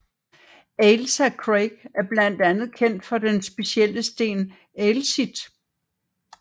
Ailsa Craig er blandt andet kendt for den specielle sten Ailsitt